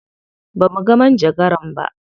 Ba muga manjagaran ba.